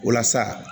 Walasa